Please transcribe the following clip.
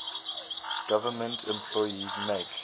government employees make